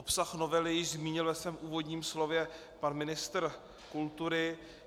Obsah novely již zmínil ve svém úvodním slově pan ministr kultury.